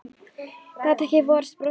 Gat ekki varist brosi.